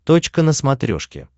точка на смотрешке